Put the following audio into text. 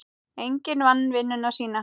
Enginn vann vinnuna sína.